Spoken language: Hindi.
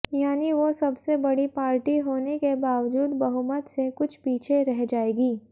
यानी वो सबसे बड़ी पार्टी होने के बावजूद बहुमत से कुछ पीछे रह जायेगी